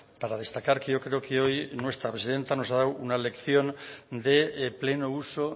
para destacar que yo creo que hoy nuestra presidenta nos ha dado una lección de pleno uso